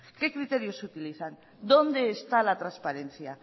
qué criterios utilizan dónde está la transparencia